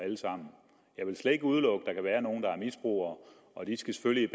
jeg vil slet ikke udelukke at være nogle der er misbrugere og de skal selvfølgelig